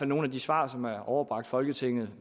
nogle af de svar som er overbragt folketinget